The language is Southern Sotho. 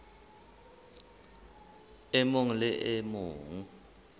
e mong le e mong